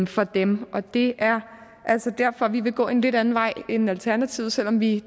for dem og det er altså derfor at vi vil gå en lidt anden vej end alternativet selv om vi